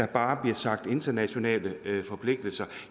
bare bliver sagt internationale forpligtelser